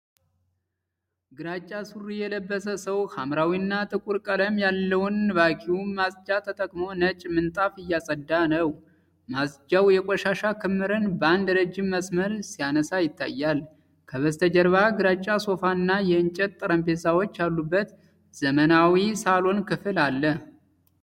ግራጫ ሱሪ የለበሰ ሰው ሐምራዊና ጥቁር ቀለም ያለውን ቫክዩም ማጽጃ ተጠቅሞ ነጭ ምንጣፍ እያጸዳ ነው። ማጽጃው የቆሻሻ ክምርን በአንድ ረጅም መስመር ሲያነሳ ይታያል። ከበስተጀርባ ግራጫ ሶፋና የእንጨት ጠረጴዛዎች ያሉበት ዘመናዊ ሳሎን ክፍል አለ።